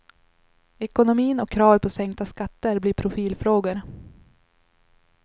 Ekonomin och kravet på sänkta skatter blir profilfrågor.